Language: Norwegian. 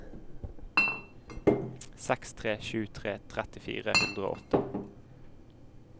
seks tre sju tre tretti fire hundre og åtte